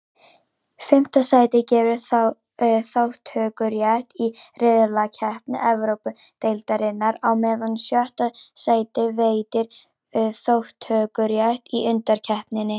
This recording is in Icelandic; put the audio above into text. Fimmta sætið gefur þátttökurétt í riðlakeppni Evrópudeildarinnar, á meðan sjötta sætið veitir þátttökurétt í undankeppninni.